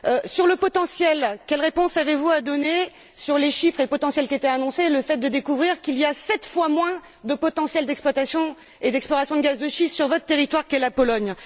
Sur le potentiel, quelle réponse avez vous à donner sur les chiffres et sur le potentiel qui étaient annoncés, puis sur la découverte qu'il y a sept fois moins de potentiel d'exploitation et d'exploration de gaz de schiste sur votre territoire, la Pologne?